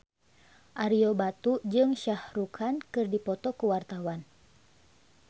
Ario Batu jeung Shah Rukh Khan keur dipoto ku wartawan